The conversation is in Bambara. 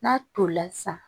N'a tolila sisan